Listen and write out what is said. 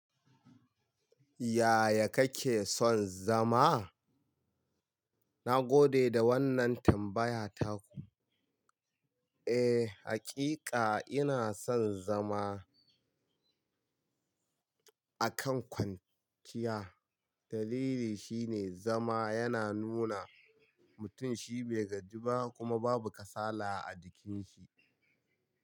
Yaya kake son zama? Na gode da wannan tambayar taku. Eh, hakika ina son zama a kan kwanciya. Dalili shine zama yana nuna mutum shi bai gajiba kuma babu kasala a jikin shi.